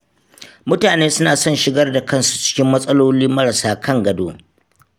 Mutane suna son shigar da kansu cikin matsololi marasa kan gado.